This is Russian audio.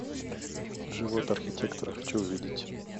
живот архитектора хочу увидеть